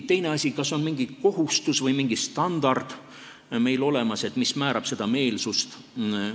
Teine asi, kas on mingi kohustus või mingi standard olemas, mis seda meelsust määrab.